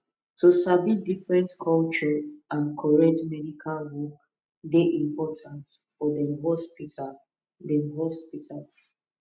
to sabi different culture and correct medical work dey important for dem hospital dem hospital